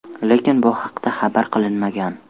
Lekin bu haqda xabar qilinmagan.